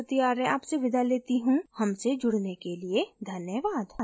I I T Bombay से मैं श्रुति आर्य आपसे विदा लेती हूँ हमसे जुड़ने के लिए धन्यवाद